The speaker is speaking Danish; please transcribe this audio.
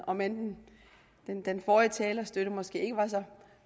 om end den forrige talers støtte måske ikke var så